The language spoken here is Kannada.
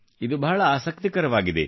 ಇದು ಬಹಳ ಆಸಕ್ತಿಕರವಾಗಿದೆ